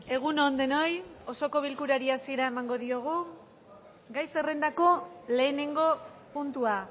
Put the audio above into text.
egun on denoi osoko bilkurari asiera emango diogu gai zerrendako lehenengo puntua